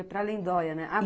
para Lindoia, né?